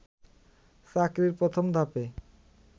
চাকরির প্রথম ধাপে